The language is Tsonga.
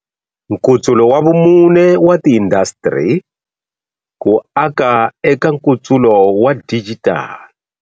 Nkutsulo wa Vumune wa Tiindasitiri ku aka eka Nkutsulo wa Dijitali.